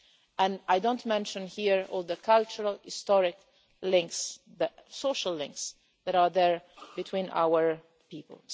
And I won't mention here all the cultural, historic links, the social links that are there between our people.